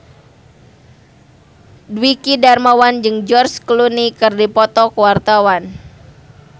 Dwiki Darmawan jeung George Clooney keur dipoto ku wartawan